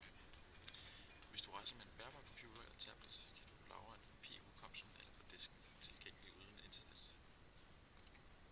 hvis du rejser med en bærbar computer eller tablet kan du lagre en kopi i hukommelsen eller på disken tilgængelig uden internet